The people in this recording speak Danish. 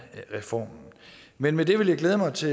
reformen men med det vil jeg glæde mig til